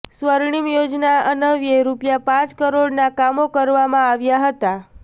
સ્વર્ણિમ યોજના અન્વ્યે રૂપિયા પાંચ કરોડના કામો કરવામાં આવ્યા હતા